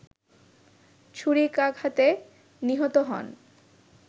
ছুরিকাঘাতে নিহত হন